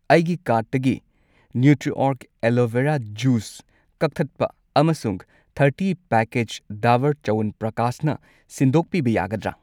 ꯑꯩꯒꯤ ꯀꯥꯔꯠꯇꯒꯤ ꯅ꯭ꯌꯨꯇ꯭ꯔꯤꯑꯣꯔꯒ ꯑꯦꯂꯣꯚꯦꯔꯥ ꯖꯨꯁ ꯖꯨꯢꯁ ꯀꯛꯊꯠꯄ ꯑꯃꯁꯨꯡ ꯊꯔꯇꯤ ꯄꯦꯀꯦꯠꯁ ꯗꯥꯕꯔ ꯆ꯭ꯌꯋꯟꯄ꯭ꯔꯀꯥꯁꯅ ꯁꯤꯟꯗꯣꯛꯄꯤꯕ ꯌꯥꯒꯗ꯭ꯔꯥ?